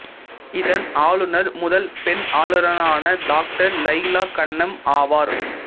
இதன் ஆளுநர் முதல் பெண் ஆளுநரான டாக்டர் லைலா கன்னம் ஆவார்